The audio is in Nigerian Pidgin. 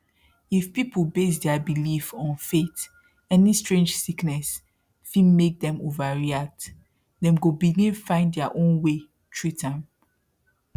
if people base their belief on faith any strange sickness fit make dem overreact dem go begin find their own way treat am